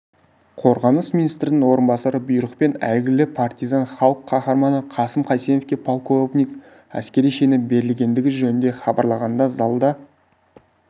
қорғаныс министрінің орынбасары бұйрықпен әйгілі партизан халық қаһарманы қасым қайсеновке полковник әскери шені берілгендігі жөнінде хабарлағанда залда